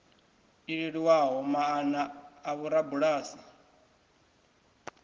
i leluwaho maana a vhorabulasi